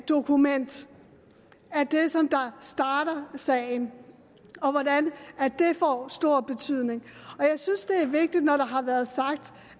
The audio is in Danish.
dokument der starter sagen og hvordan det får stor betydning jeg synes det er vigtigt når der har været sagt